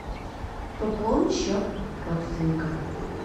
пополни счет родственника